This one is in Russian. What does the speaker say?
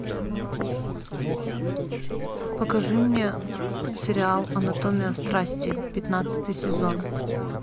покажи мне сериал анатомия страсти пятнадцатый сезон